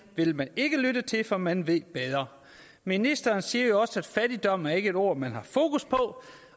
vil man ikke lytte til for man ved bedre ministeren siger jo også at fattigdom ikke er et ord man har fokus på